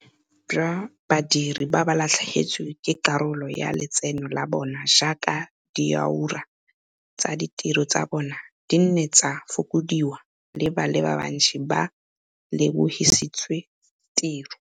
Bontsi jwa badiri ba latlhegetswe ke karolo ya letseno la bona jaaka diura tsa tiro tsa bona di ne tsa fokodiwa le ba le bantsi ba lebogisitswe tiro.